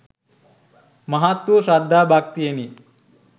මහත් වූ ශ්‍රද්ධා භක්තියෙනි.